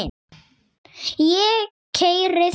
Ég keyri þig!